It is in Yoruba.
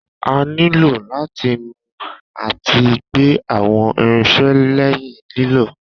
A nílò láti nu àti gbẹ àwọn irinsẹ́ lẹ́yìn lílò